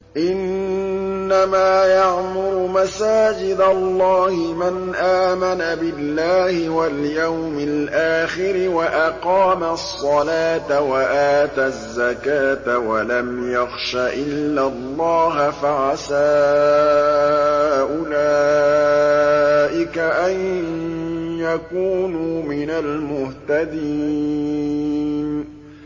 إِنَّمَا يَعْمُرُ مَسَاجِدَ اللَّهِ مَنْ آمَنَ بِاللَّهِ وَالْيَوْمِ الْآخِرِ وَأَقَامَ الصَّلَاةَ وَآتَى الزَّكَاةَ وَلَمْ يَخْشَ إِلَّا اللَّهَ ۖ فَعَسَىٰ أُولَٰئِكَ أَن يَكُونُوا مِنَ الْمُهْتَدِينَ